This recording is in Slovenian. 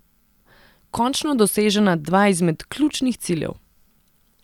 Končno dosežena dva izmed ključnih ciljev.